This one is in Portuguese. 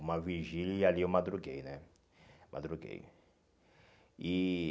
Uma vigília e ali eu madruguei, né? Madruguei e